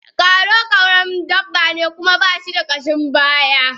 Kwaro karamin dabba ne kuma bashi da kashin baya.